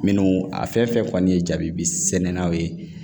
Minnu a fɛn fɛn kɔni ye jabibi sɛnɛnw ye